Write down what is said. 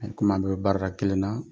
i komi an bɛɛ bɛ baarada kelen na.